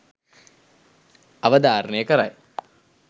අවධාරණය කරයි.